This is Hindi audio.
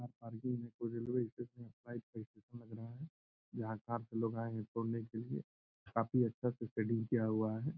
कार पार्किंग में कोई रेलवे स्टेशन यहाँ कार से लोग आए हैं छोड़ने के लिए। काफी अच्छा से सेटिंग किया हुआ है।